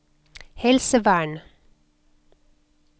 helsevern